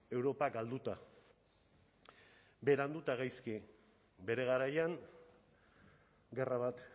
europa galduta berandu eta gaizki bere garaian gerra bat